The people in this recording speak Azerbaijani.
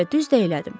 Və düz də elədim.